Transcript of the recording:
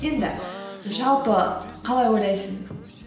енді жалпы қалай ойлайсың